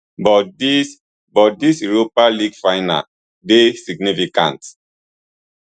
but dis but dis europa league final dey significant